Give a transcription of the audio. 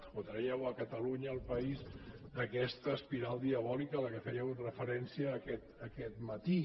o tragueu catalunya el país d’aquesta espiral diabòlica a què fèieu referència aquest matí